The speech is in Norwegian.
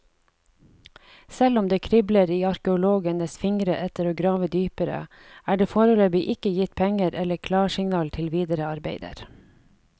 Selv om det kribler i arkeologenes fingre etter å grave dypere, er det foreløpig ikke gitt penger eller klarsignal til videre arbeider.